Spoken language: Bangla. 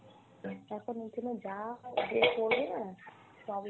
এখন ওইজন্য যা হয় যে করবে না সবই,